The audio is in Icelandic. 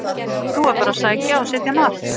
Nú er bara að sækja og setja mark!